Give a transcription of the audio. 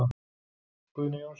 Guðni Jónsson.